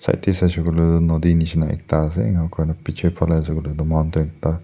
tate sai shey koi le toh nodi nishi na ekta ase enia kuri ne piche phale ase koi le toh mountain ekta.